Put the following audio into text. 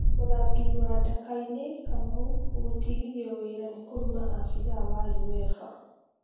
Mũrangĩri wa Ndakaine Fc Kamau gũtigithio wĩra nĩ kũruma abidhaa wa Uefa